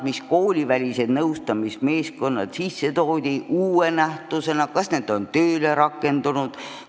Kas koolivälised nõustamismeeskonnad, mis uue nähtusena seadusesse lisati, on tööle rakendunud?